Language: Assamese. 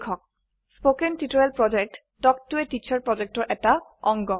কথন শিক্ষণ প্ৰকল্প তাল্ক ত a টিচাৰ প্ৰকল্পৰ এটা অংগ